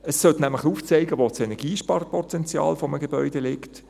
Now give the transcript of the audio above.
Es sollte nämlich aufzeigen, wo das Energiesparpotenzial eines Gebäudes liegt.